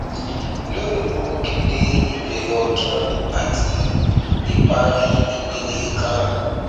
lónì in mo kéde ìbẹrẹ ọtún àti ìparí ìpele kan